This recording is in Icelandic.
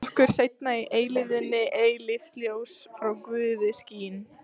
Okkur seinna í eilífðinni eilíft ljós frá Guði skín.